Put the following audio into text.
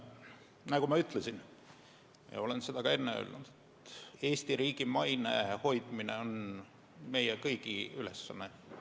Nagu ma ütlesin ja nagu ma olen ka enne öelnud, Eesti riigi maine hoidmine on meie kõigi ülesanne.